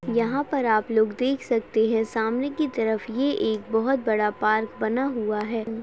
यहां पर आप लोग देख सकते है सामने की तरफ ये एक बहोत बड़ा पार्क बना हुआ है।